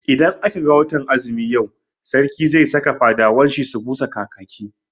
Idan aka ga watan azumi yau, Sarki zai saka fadawan shi busa kakaki.